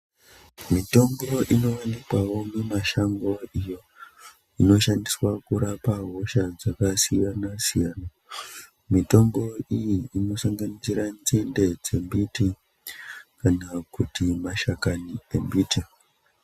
Mitombo ino onekawo mi mashango iyo inoshandiswa kurapa hosha dzaka siyana siyana mitombo iyi inosanganisira nzinde dze mbiti kana kuti mashakani embiti.